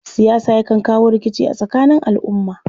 Siyasa yakan kawo rikici a tsakanin al'umma.